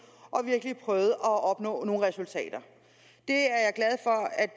og virkelig prøvede at opnå nogle resultater